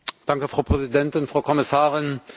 Danke Frau Präsidentin, Frau Kommissarin!